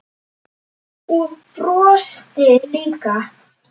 Og brosti líka.